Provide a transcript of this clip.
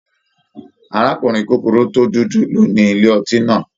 Arakunrin kukuru to dudu ló ní ilé ọtí náà.